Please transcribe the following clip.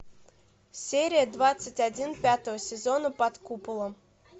серия двадцать один пятого сезона под куполом